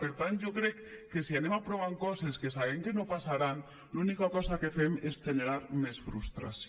per tant jo crec que si anem aprovant coses que sabem que no passaran l’única cosa que fem és generar més frustració